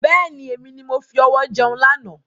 Bẹ́ẹ̀ni, èmi ni mo fi ọwọ jẹun lànà.